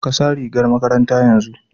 Ka sa rigar makaranta yanzu!